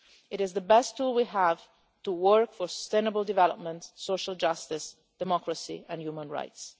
It is the best tool we have to work for sustainable development, social justice, democracy and human rights.